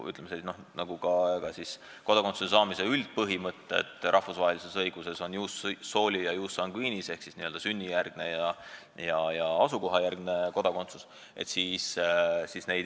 Aga kodakondsuse saamise üldpõhimõtted rahvusvahelises õiguses on ius soli ja ius sanguinis ehk siis sünnikohajärgne kodakondsus ja vanemate kodakondsuse järgne kodakondsus.